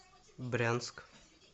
брянск